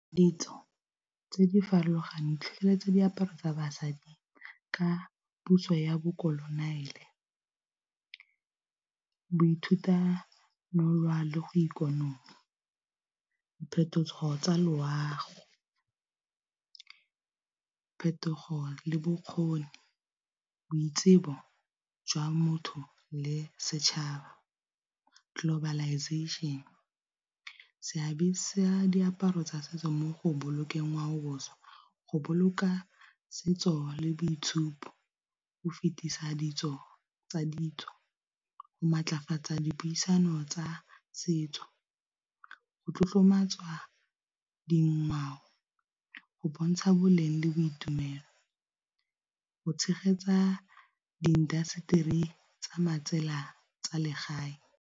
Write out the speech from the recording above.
Ditso tse di farologaneng tlhole tse diaparo tsa basadi ka puso ya bokononiele, boithuta bo nolwa le go ikonolwa, diphetogo tsa loago, phetogo le bokgoni boitsibo jwa motho le setšhaba globalization seabe sa diaparo tsa setso mo go bolokeng ngwao boswa go boloka setso le boitshupo, go fetisa ditso tsa ditso, go maatlafatsa dipuisano tsa setso, go tlotlomatsa dingwao go bontsha boleng le boitumelo, go tshegetsa di industry tsa matsela tsa legae.